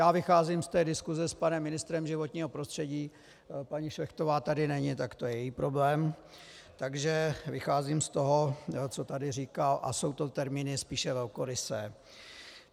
Já vycházím z té diskuse s panem ministrem životního prostředí, paní Šlechtová tady není, tak to je její problém, takže vycházím z toho, co tady říkal, a jsou to termíny spíše velkorysé.